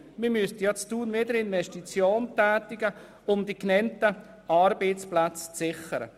Dort müssten wieder Investitionen getätigt werden, um die genannten Arbeitsplätze zu sichern.